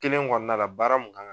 kelen kɔnɔna la baara mun kan